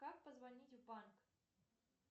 как позвонить в банк